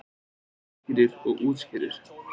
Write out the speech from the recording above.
Útskýrir og útskýrir.